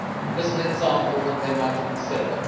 is an example that they might consider.